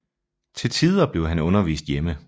Til tider blev han undervist hjemme